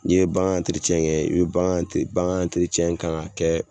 N'i ye bangan kɛ i bɛ bangan kan ka kɛ